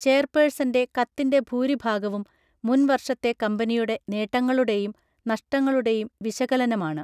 ചെയർപേഴ്സൻ്റെ കത്തിൻ്റെ ഭൂരിഭാഗവും മുൻ വർഷത്തെ കമ്പനിയുടെ നേട്ടങ്ങളുടെയും നഷ്ടങ്ങളുടെയും വിശകലനമാണ്.